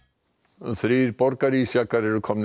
þrír borgarísjakar eru komnir